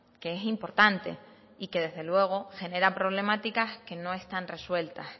que es importante y que desde luego genera problemáticas que no están resueltas